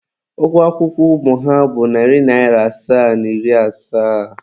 Ụgwọ akwụkwọ ụmụ ha bụ narị naira asaa na iri asaa.